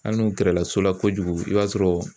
Hali n'u gɛrɛla so la kojugu i b'a sɔrɔ